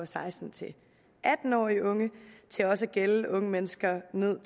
seksten til atten årige unge til også at gælde unge mennesker ned